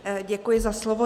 Děkuji za slovo.